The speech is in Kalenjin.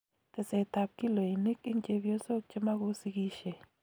Teset ab kiloinik eng chebyosok chemakosikisie